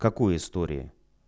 какую истории